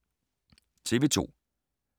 TV 2